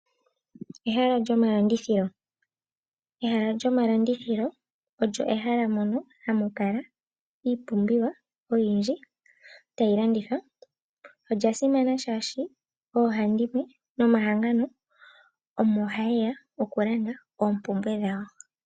Ehala lyomalandithilo, ehala lyomalandithilo olyo ehala mono hamu kala iipumbiwa oyindji tayi landithwa. Olya simana shaashi oohandimwe nomahangano omo haye ya oku landa oompumbwe dhawo.